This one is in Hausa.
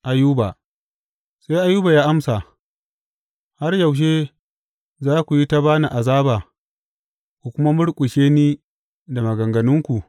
Ayuba Sai Ayuba ya amsa, Har yaushe za ku yi ta ba ni azaba ku kuma murƙushe ni da maganganunku?